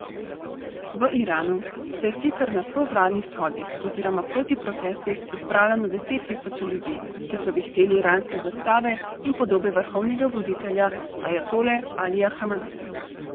V Iranu se je sicer na provladnih shodih oziroma protiprotestih zbralo na deset tisoče ljudi, ki so vihteli iranske zastave in podobe vrhovnega voditelja ajatole Alija Hameneja.